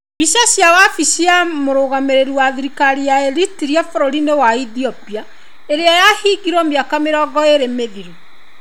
Mbica cia wabici ya mũrũgamĩrĩri wa thirikari ya Eritrea bũrũri-inĩ wa Ethiopia ĩrĩa yahingirwo mĩaka mĩrongo ĩrĩ mĩthiru.